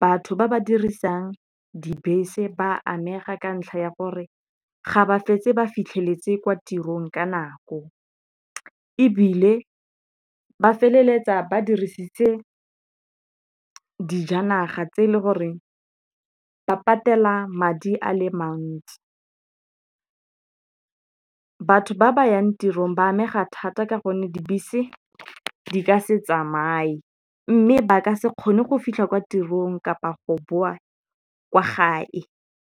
batho ba ba dirisang dibese ba amega ka ntlha ya gore ga ba fetse ba fitlheletse kwa tirong ka nako. Ebile ba feleletsa ba dirisitse dijanaga tse e le goreng ba patela madi a le mantsi. Batho ba ba yang tirong ba amega thata ka gonne dibese di ka se tsamaye mme ba ka se kgone go fitlha kwa tirong kapa go boa kwa gae.